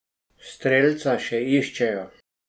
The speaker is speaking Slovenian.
Strelca še iščejo.